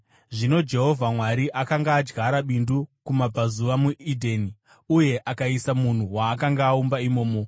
Zvino Jehovha Mwari akanga adyara bindu kumabvazuva, muEdheni; uye akaisa munhu waakanga aumba imomo.